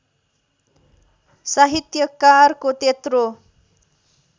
साहित्यकारको त्यत्रो